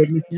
ABC